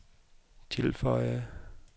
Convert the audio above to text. tilføjede